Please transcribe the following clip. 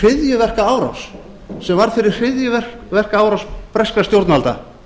kaupþing sem varð fyrir hryðjuverkaárás breskra stjórnvalda